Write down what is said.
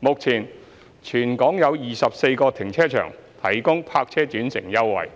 目前，全港有24個停車場提供泊車轉乘優惠，